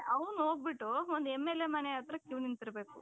ಅವನು ಹೋಗ್ಬಿಟ್ಟು ಒಂದು MLA ಮನೆ ಹತ್ರ queue ನಿಂತಿರಬೇಕು.